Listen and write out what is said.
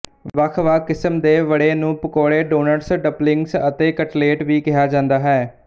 ਵੱਖਵੱਖ ਕਿਸਮ ਦੇ ਵੜੇ ਨੂੰ ਪਕੋੜੇ ਡੋਨਟਸ ਡੰਪਲਿੰਗਸ ਅਤੇ ਕਤਲੇਟ ਵੀ ਕਿਹਾ ਜਾਂਦਾ ਹੈ